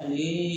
Ani